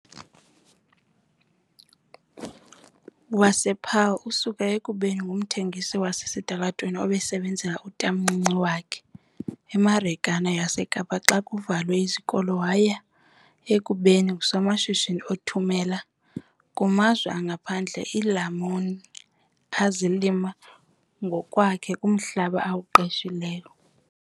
wasePaarl, osuka ekubeni ngumthengisi wasesitalatweni osebenzela utatomncinci wakhe eMarikeni yaseKapa xa kuvalwe izikolo waya ekubeni ngusomashishini othumela kumazwe angaphandle iilamuni azilima ngokwakhe kumhlaba awuqeshileyo.